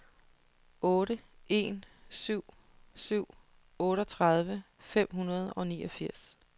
otte en syv syv otteogtredive fem hundrede og niogfirs